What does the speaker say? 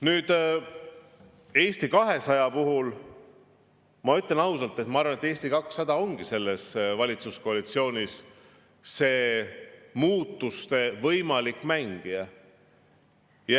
Nüüd, Eesti 200 puhul ma ütlen ausalt, ma arvan, et Eesti 200 selles valitsuskoalitsioonis ongi see mängija.